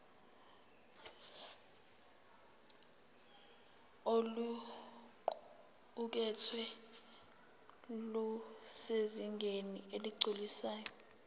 oluqukethwe lusezingeni eligculisayo